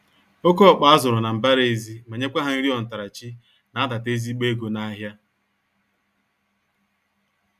Oké ọkpa azụrụ na mbara-ezi, ma nyekwa ha nri ontarachi na adata ezigbo ego nahịa.